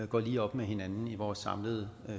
går lige op med hinanden i vores samlede